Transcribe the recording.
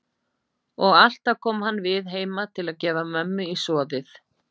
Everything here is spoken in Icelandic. Og alltaf kom hann við heima til að gefa mömmu í soðið.